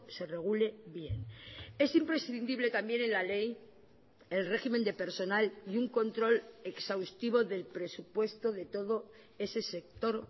se regule bien esimprescindible también en la ley el régimen de personal y un control exhaustivo del presupuesto de todo ese sector